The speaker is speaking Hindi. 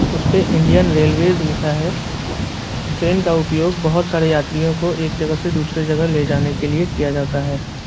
उसपे इंडियन रेलवेज लिखा है ट्रेन का उपयोग बहुत सारे यात्री को एक जगह से दूसरे जगह ले जाने के लिए किया जाता है।